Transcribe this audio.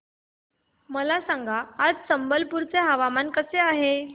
मला सांगा आज संबलपुर चे हवामान कसे आहे